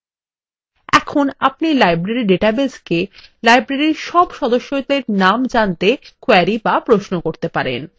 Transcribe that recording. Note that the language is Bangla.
এখন আপনি library ডাটাবেসকে library সব সদস্যদের নাম জানতে query বা প্রশ্ন করতে পারেন